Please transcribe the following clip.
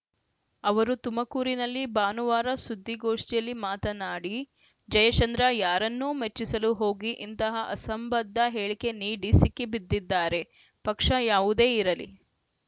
ಅವರು ತುಮಕೂರಿನಲ್ಲಿ ಭಾನುವಾರ ಸುದ್ಧಿಗೋಷ್ಠಿಯಲ್ಲಿ ಮಾತನಾಡಿ ಜಯಚಂದ್ರ ಯಾರನ್ನೋ ಮೆಚ್ಚಿಸಲು ಹೋಗಿ ಇಂತಹ ಅಸಂಬದ್ಧ ಹೇಳಿಕೆ ನೀಡಿ ಸಿಕ್ಕಿಬಿದ್ದಿದ್ದಾರೆ ಪಕ್ಷ ಯಾವುದೇ ಇರಲಿ